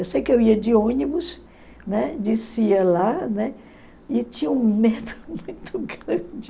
Eu sei que eu ia de ônibus, né, descia lá, né, e tinha um medo muito grande.